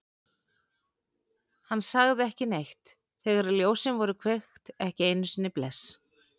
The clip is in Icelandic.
Hann sagði ekki neitt þegar ljósin voru kveikt, ekki einu sinni bless.